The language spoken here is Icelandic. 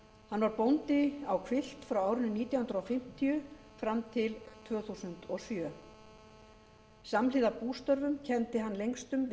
hann var bóndi á hvilft frá árinu nítján hundruð fimmtíu fram til tvö þúsund og sjö samhliða bústörfum kenndi hann lengstum við